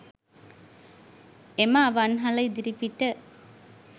එ‍ම ‍අ‍වන්‍හ‍ල ‍ඉ‍දි‍රි‍පි‍ට